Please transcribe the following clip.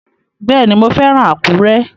Bẹ́ẹ̀ni, mo fẹ́ràn Àkúrẹ́